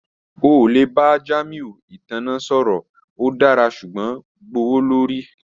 O le ba Jamiu itanna sọrọ, o dara ṣugbọn gbowolori